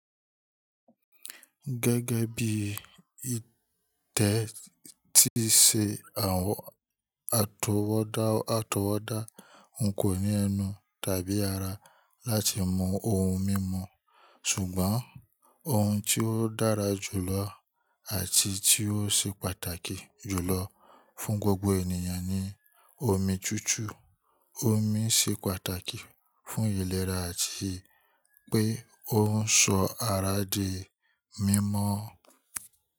Gẹ́gẹ́ bí i tẹ́ tí ṣe àwọn àtọwọ́dá àtọwọ́dá n kò ní ẹnu tàbí ara láti mú oun mímu, ṣùgbọ́n oun tí ó dára jù lọ àti tí ó ṣe pàtàkì jù lọ fún gbogbo ènìyàn ni omi tútú. Omi ṣe pàtàkì fún ìlera àti pé ó ń sọ ara di mímọ́.